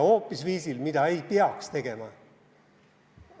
Viisil, mida ei peaks tegema.